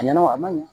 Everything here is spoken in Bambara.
A ɲɛna a ma ɲi